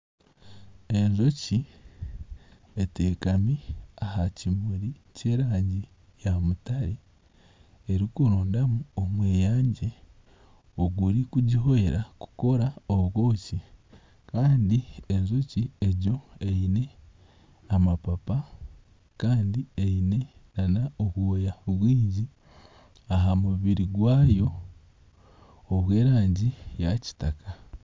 Enjoki eteekami aha kimuri kyera ngu eya mutare erikurondamu omweyangye ogurikugihwera kukora obwoki kandi enjoki egyo eine amapapa kandi eine nana obwoya bwingi aha mubiri gwayo obwerangi ya kitaka